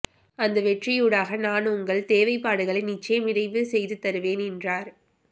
அந்த வெற்றியூடாக நான் உங்கள் தேவைப்படுகளை நிச்சயம் நிறைவு செய்து தருவேன் என்றார்